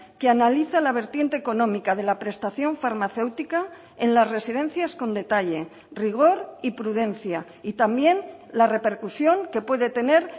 que analiza la vertiente económica de la prestación farmacéutica en las residencias con detalle rigor y prudencia y también la repercusión que puede tener